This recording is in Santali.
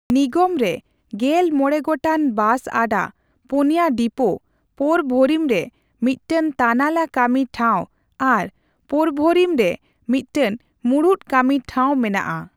ᱱᱤᱜᱚᱢ ᱨᱮ ᱜᱮᱞ ᱢᱚᱲᱮ ᱜᱚᱴᱟᱝ ᱵᱟᱥ ᱟᱰᱟ, ᱯᱩᱱ ᱭᱟ ᱰᱤᱯᱳ, ᱯᱳᱨ ᱵᱷᱳᱨᱤᱢ ᱨᱮ ᱢᱤᱫᱴᱟᱝ ᱛᱟᱱᱟᱞᱟ ᱠᱟᱹᱢᱤ ᱴᱷᱟᱣ ᱟᱨ ᱯᱳᱨᱵᱷᱳᱨᱤᱢ ᱨᱮ ᱢᱤᱫ ᱴᱟᱝ ᱢᱩᱬᱩᱫ ᱠᱟᱹᱢᱤ ᱴᱷᱟᱣ ᱢᱮᱱᱟᱜᱼᱟ ᱾